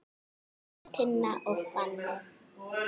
Agnes, Tinna og Fanney.